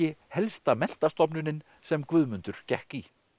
helsta menntastofnunin sem Guðmundur gekk í